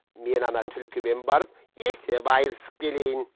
мен ана түлкімен барып есеп айырысып келейін